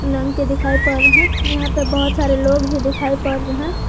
के दिखाई पड़ रहे हैं यहां पे बहुत सारे लोग भी दिखाई पड़ रहे हैं।